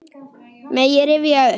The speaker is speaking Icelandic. Mega rifja upp.